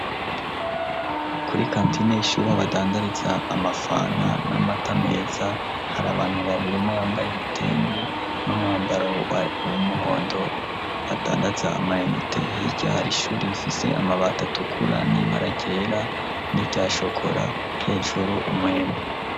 Kuri kantineishuri abadandariza amafana n'amata meza hari abantu babiri umuyambaye ibitenge n'umwambaro wa wumuhondo adandaza amayenete hiryahara ishuri bifise amabatatukura nibaragera n'iryashokora hejuru umweme.